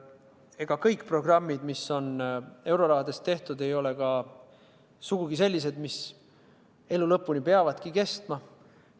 Ega kõik programmid, mis euroraha eest on tehtud, ei ole sugugi sellised, mis peavad elu lõpuni kestma.